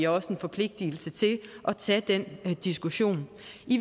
også en forpligtelse til at tage den diskussion